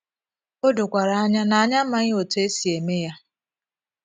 O dokwara anya na anyị amaghị otú e si eme ya. ”